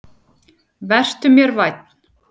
Vertu mér vænn.